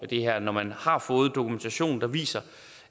det her når man har fået dokumentation der viser